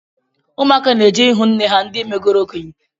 Ụmụaka na-eje ihụ nne ha ndi megoro okenye